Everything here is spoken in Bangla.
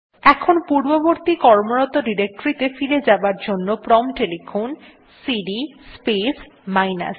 এখন পূর্ববর্তী কর্মরত ডিরেক্টরীতে ফিরে যাবার জন্য প্রম্পট এ লিখুন সিডি স্পেস মাইনাস